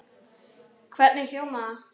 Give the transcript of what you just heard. Hvernig hljómar það?